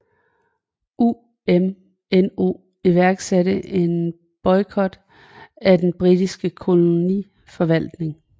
UMNO iværksatte en boikott af den britiske koloniforvaltning